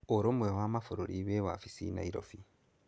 Ũrũmwe wa Mabũrũri wĩ wabici Nairobi.